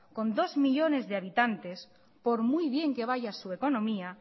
con dos millónes de habitantes por muy bien que vaya su economía